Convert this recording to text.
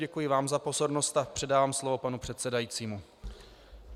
Děkuji vám za pozornost a předávám slovo panu předsedajícímu.